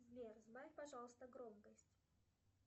сбер сбавь пожалуйста громкость